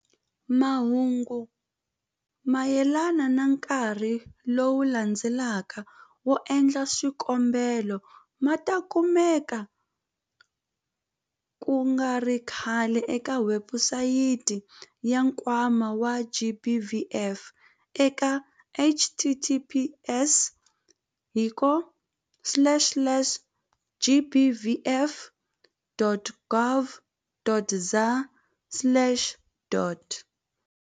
Mahungu mayelana na nkarhi lowu landzelaka wo endla swikombelo ma ta kumeka ku nga ri khale eka webusayiti ya Nkwama wa GBVF eka- https hiko slash slash gbvf.org.za slash dot.